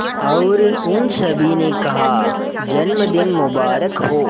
और उन सभी ने कहा जन्मदिन मुबारक हो